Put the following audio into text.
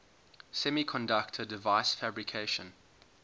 semiconductor device fabrication